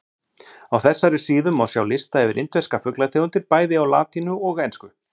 Á þessari síðu má sjá lista yfir indverska fuglategundir bæði á latínu og ensku.